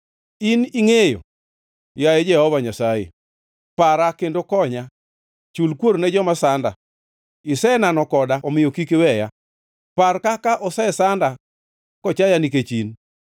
In ingʼeyo, yaye Jehova Nyasaye; para kendo konya. Chul kuor ne joma sanda. Isenano koda omiyo kik iweya; par kaka osesanda kochaya nikech in.